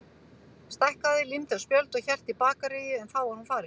Stækkaði, límdi á spjöld, hélt í bakaríið en þá var hún farin.